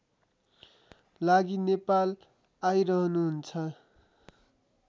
लागि नेपाल आइरहनुहुन्छ